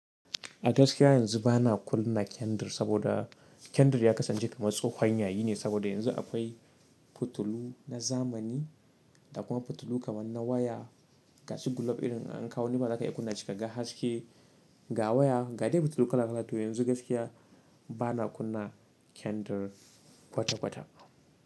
A gaskiya yanzu bana kunna kendir, saboda kendir ya kasance kamar tsohon yayi. Yine saboda, yanzu akwai, fitilu na zamani, da kuma fitilu kamar na waya, gashi gulob irin, an kawo inda zaka kunna shi ka ga haske, ga waya, ga dai fitilu kala kala. To yanzu gaskiya bana kunna kendir kwata kwata.